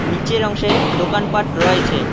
নীচের অংশে দোকানপাট রয়েছে।